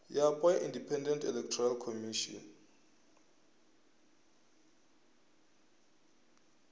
yapo ya independent electoral commission